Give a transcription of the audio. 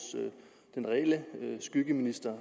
skyggeminister